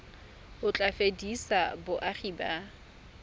o tla fedisa boagi ba